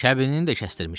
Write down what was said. Kəbinini də kəsdirmişəm.